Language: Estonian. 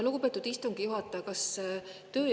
Lugupeetud istungi juhataja!